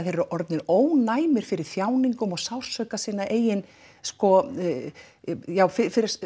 þeir eru orðnir ónæmir fyrir þjáningum og sársauka sinna eigin já fyrir